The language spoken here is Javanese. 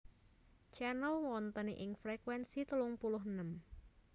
Channel wonten ing frekuensi telung puluh enem